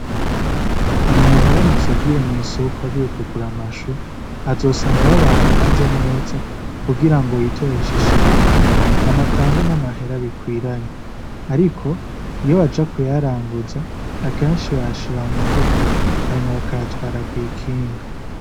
Umuntu aramutse agiye mw'isoko agiye kugura amashu azosanga aho bayapanze neza kugira ngo yitorere ishu ashaka hanyuma atange n'amahera bikwiranye. Ariko iyo baja kuyaranguza, akenshi bayashira mu mufuko hanyuma bakayatwara kw'ikinga.